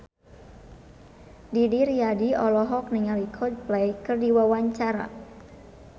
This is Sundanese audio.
Didi Riyadi olohok ningali Coldplay keur diwawancara